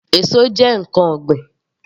Èso jẹ́ ǹkan ọ̀gbìn